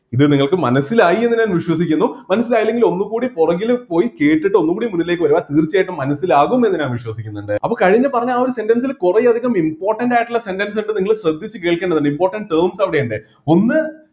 ഇത് നിങ്ങൾക്ക് മനസ്സിലായി എന്ന് ഞാൻ വിശ്വസിക്കുന്നു മനസ്സിലായില്ലെങ്കിൽ ഒന്നുകൂടി പുറകിൽ പോയി കേട്ടിട്ട് ഒന്നുകൂടി മുന്നിലേക്ക് വരുക തീർച്ചയായിട്ടും മനസ്സിലാകും എന്ന് ഞാൻ വിശ്വസിക്കുന്നുണ്ട് അപ്പൊ കഴിഞ്ഞ പറഞ്ഞ ആ ഒരു sentence ൽ കുറെ അധികം important ആയിട്ടുള്ള sentence ഇണ്ട് നിങ്ങൾ ശ്രദ്ധിച്ച് കേൾക്കേണ്ടത് important terms അവിടെ ഉണ്ട് ഒന്ന്